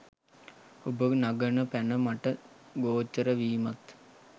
ඔබ නගන පැන මට ගෝචර වීමත්